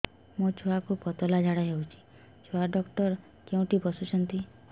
ମୋ ଛୁଆକୁ ପତଳା ଝାଡ଼ା ହେଉଛି ଛୁଆ ଡକ୍ଟର କେଉଁଠି ବସୁଛନ୍ତି